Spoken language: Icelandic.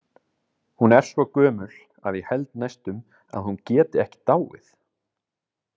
Hún er svo gömul að ég held næstum að hún geti ekki dáið.